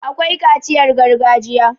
akwai kaciyar gargajiya